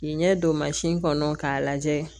N ɲɛ don mansin kɔnɔ k'a lajɛ